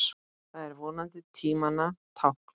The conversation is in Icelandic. Það er vonandi tímanna tákn.